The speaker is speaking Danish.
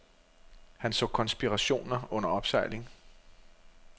Han så konspirationer under opsejling.